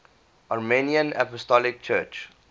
armenian apostolic church